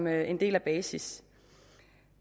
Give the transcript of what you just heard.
er en del af basis